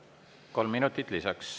Kolm minutit lisaks.